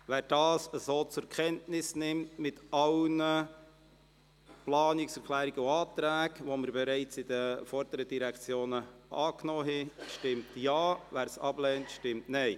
Wer dies mit allen Planungserklärungen und Anträgen, die wir bereits bei den vorangegangenen Direktionen angenommen haben, annimmt, stimmt Ja, wer es ablehnt, stimmt Nein.